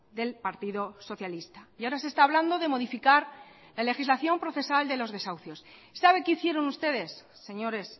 del partido socialista y ahora se está hablando de modificar la legislación procesal de los desahucios sabe qué hicieron ustedes señores